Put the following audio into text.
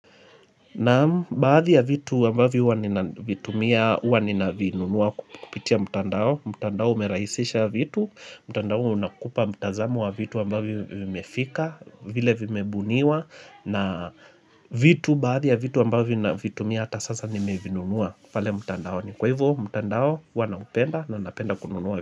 Naam baadhi ya vitu ambavyo huwa ninavitumia uwa ninavinunua kupitia mtandao, mtandao umerahisisha vitu, mtandao unakupa mtazamo wa vitu ambavyo vimefika, vile vimebuniwa, na vitu baadhi ya vitu ambavyo navitumia hata sasa nimevinunua pale mtandao, ni kwa hivyo mtandao huwa naupenda na napenda kununua vitu.